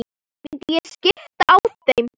Myndi ég skipta á þeim?